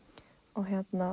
og